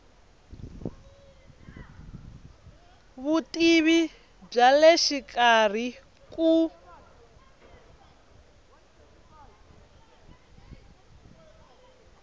vutivi bya le xikarhi ku